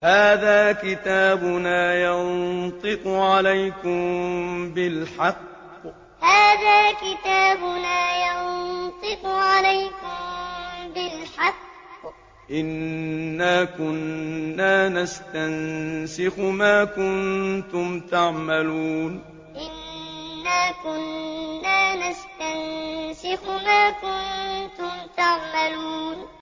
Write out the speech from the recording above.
هَٰذَا كِتَابُنَا يَنطِقُ عَلَيْكُم بِالْحَقِّ ۚ إِنَّا كُنَّا نَسْتَنسِخُ مَا كُنتُمْ تَعْمَلُونَ هَٰذَا كِتَابُنَا يَنطِقُ عَلَيْكُم بِالْحَقِّ ۚ إِنَّا كُنَّا نَسْتَنسِخُ مَا كُنتُمْ تَعْمَلُونَ